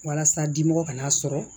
Walasa dimɔgɔ kana sɔrɔ